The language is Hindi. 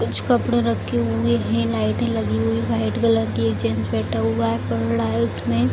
कुछ कपड़े रखे हुए हैं लाइटें लगी हुई व्हाइट कलर की एक जेंट्स बैठा हुआ है पढ़ रहा है उसमें।